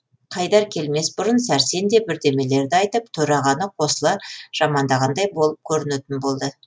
қайдар келмес бұрын сәрсен де бірдемелерді айтып төрағаны қосыла жамандағандай болып көрінетін болды